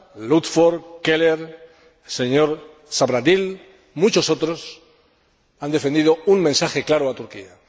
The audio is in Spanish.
Ludford, Keller, el señor Zahradil, muchos otros han defendido un mensaje claro a Turquía.